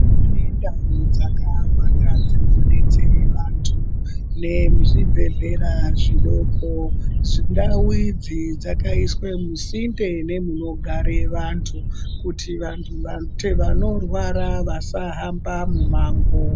Mune ndau dzakawanda dzinodetsera vantu nezvibhedhlera zvidokondau idzi dzakaiswa musinde munogare vantu kuti antu vanorwara vasahamba mumango